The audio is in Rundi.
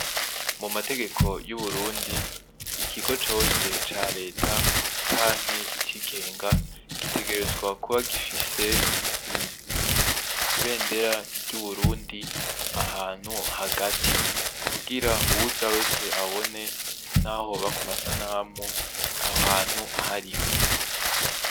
Mu mategeko y ' Uburundi ikigo cose ca reta canke icigenga gitegerezwe kuba gufise ibendera ry' Uburundi ahantu hagati kugira uwuza wese abone naho hoba ku masanamu aho hantu ahariho.